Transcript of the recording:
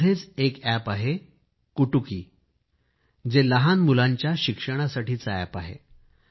यामध्येच एक अॅप आहे कुटुकी हे लहान मुलांच्या शिक्षणासाठी अॅप आहे